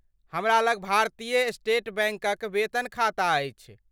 हमरा लग भारतीय स्टेट बैंकक वेतन खाता अछि।